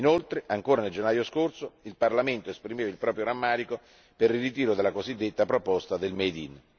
Inoltre, ancora nel gennaio scorso, il Parlamento esprimeva il proprio rammarico per il ritiro della cosiddetta proposta del made